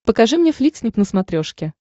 покажи мне фликснип на смотрешке